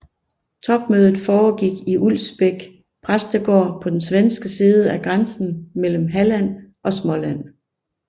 Topmødet foregik i Ulvsbäck præstegård på den svenske side af grænsen mellem Halland og Småland